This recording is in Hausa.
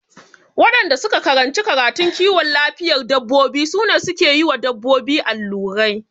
Waɗanda suka karanci karatun kiwon lafiyar dabbobi su ne suke yiwa dabbobi allurai